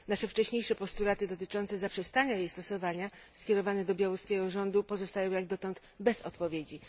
Nasze wcześniejsze postulaty dotyczące zaprzestania jej stosowania skierowane do białoruskiego rządu pozostają jak dotąd bez odpowiedzi.